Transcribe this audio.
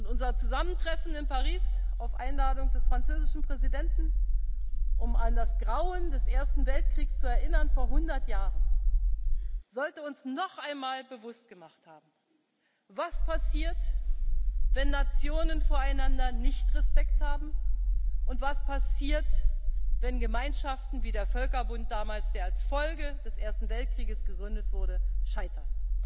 Unser Zusammentreffen in Paris auf Einladung des französischen Präsidenten, um an das Grauen des Ersten Weltkriegs vor hundert Jahren zu erinnern, sollte uns noch einmal bewusst gemacht haben, was passiert, wenn Nationen voreinander keinen Respekt haben, und was passiert, wenn Gemeinschaften wie der Völkerbund damals, der als Folge des Ersten Weltkrieges gegründet wurde, scheitern.